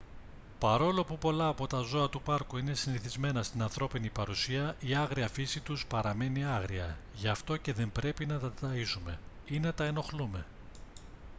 παρόλο που πολλά από τα ζώα του πάρκου είναι συνηθισμένα στην ανθρώπινη παρουσία η άγρια φύση τους παραμένει άγρια γι αυτό και δεν πρέπει να τα ταΐζουμε ή να τα ενοχλούμε